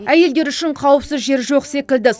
әйелдер үшін қауіпсіз жер жоқ секілді